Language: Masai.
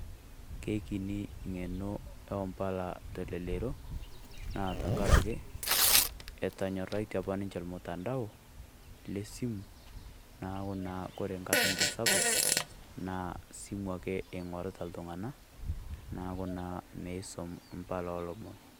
Keekini eng'eno oombala telelero naa tenkaraki etonyorraitie apa ninche ormutandao leSimu neeku naa ore enkata enye sapuk naa esimu ake ninche eing'orita iltung'anak neeku naa meisum embala oolomon.